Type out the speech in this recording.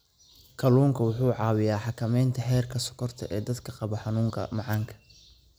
Kalluunku waxa uu caawiyaa xakamaynta heerka sonkorta ee dadka qaba xanuunka macaanka.